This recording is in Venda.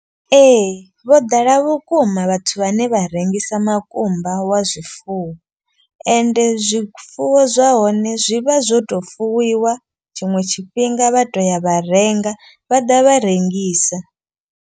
Ee vho ḓala vhukuma vhathu vhane vha rengisa makumba wa zwifuwo. Ende zwifuwo zwa hone zwi vha zwo to fuwiwa tshiṅwe tshifhinga vha to ya vha renga vha ḓa vha rengisa.